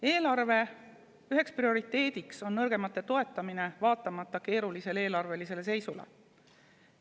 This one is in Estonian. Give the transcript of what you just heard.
Eelarve üheks prioriteediks on nõrgemate toetamine, vaatamata keerulisele eelarveseisule.